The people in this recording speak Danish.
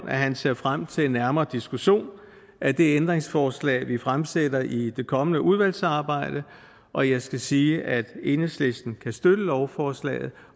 at han ser frem til nærmere diskussion af det ændringsforslag vi fremsætter i det kommende udvalgsarbejde og jeg skal sige at enhedslisten kan støtte lovforslaget